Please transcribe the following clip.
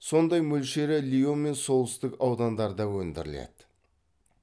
сондай мөлшері лион мен солтүстік аудандарда өндіріледі